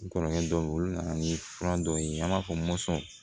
N kɔrɔkɛ dɔ bɛ yen olu nana ni fura dɔw ye an b'a fɔ